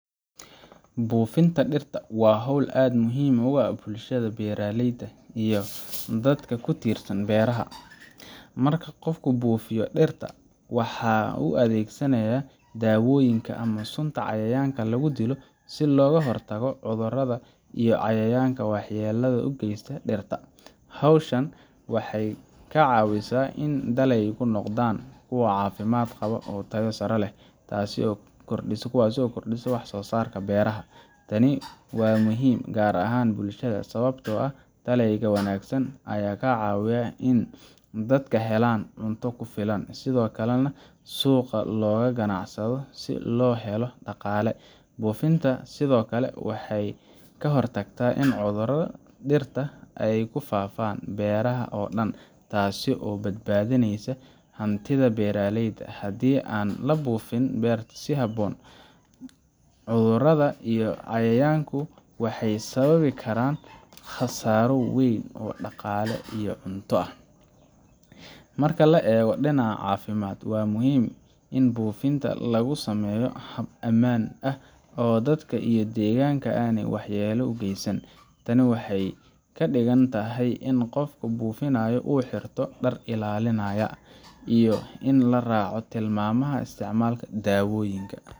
Buufinta dhirta waa hawl aad muhiim ugu ah bulshada beeralayda iyo dadka ku tiirsan beeraha. Marka qofku buufiyo dhirta, waxa uu adeegsanayaa dawooyin ama sunta cayayaanka lagu dilo si looga hortago cudurada iyo cayayaanka waxyeelada u geysta dhirta. Hawshan waxay ka caawisaa in dalagyadu noqdaan kuwo caafimaad qaba oo tayo sare leh, taasoo kordhisa wax soosaarka beeraha. Tani waa muhiim gaar ahaan bulshada, sababtoo ah dalagyada wanaagsan ayaa ka caawiya in dadka helaan cunto ku filan, sidoo kalena suuqa looga ganacsado si loo helo dhaqaale. Buufinta sidoo kale waxay ka hortagtaa in cudurada dhirta ay ku faaftaan beeraha oo dhan, taasoo badbaadinaysa hantida beeralayda. Haddii aan buufinta si habboon loo samayn, cudurada iyo cayayaanku waxay sababi karaan khasaaro weyn oo dhaqaale iyo cunto ah. Marka la eego dhinaca caafimaadka, waa muhiim in buufinta lagu sameeyo hab ammaan ah oo dadka iyo deegaanka aanay waxyeello u geysan. Taasi waxay ka dhigan tahay in qofka buufinaya uu xirto dhar ilaalinaya, iyo in la raaco tilmaamaha isticmaalka dawooyinka